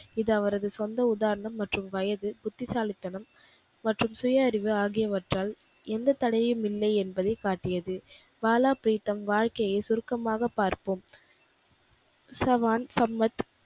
இது அவரது சொந்த உதாரணம் மற்றும் வயது புத்திசாலித்தனம் மற்றும் சுய அறிவு ஆகியவற்றால் எந்த தடையுமில்லை என்பதை காட்டியது. பாலா ப்ரீத்தம் வாழ்க்கையை சுருக்கமாக பார்ப்போம். சவான், சம்மத்,